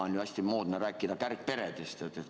On ju hästi moodne rääkida kärgperedest.